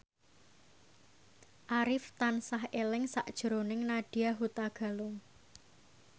Arif tansah eling sakjroning Nadya Hutagalung